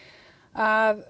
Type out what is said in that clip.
að